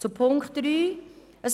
Zu Punkt 3